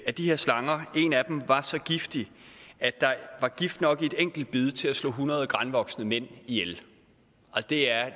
af de her slanger var så giftig at der var gift nok i et enkelt bid til at slå hundrede granvoksne mænd ihjel det er